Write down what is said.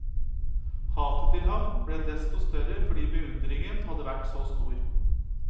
Hatet til ham ble dessto større fordi beundringen hadde vært så stor.